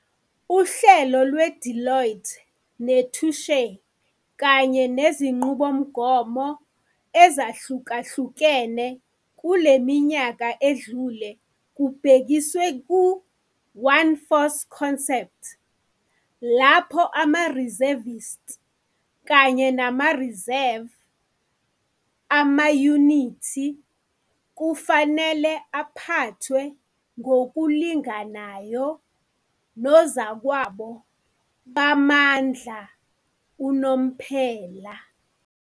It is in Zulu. Uhlelo lweDeloitte neTouche, kanye nezinqubomgomo ezahlukahlukene kule minyaka edlule kubhekiswe ku-'One Force Concept 'lapho ama-reservists kanye nama-reserve amayunithi kufanele aphathwe ngokulinganayo nozakwabo bamandla unomphela.